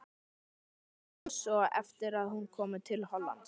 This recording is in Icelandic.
Myndina vann hún svo eftir að hún kom til Hollands.